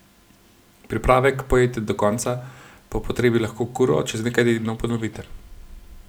Pripravek pojejte do konca, po potrebi lahko kuro čez nekaj tednov ponovite.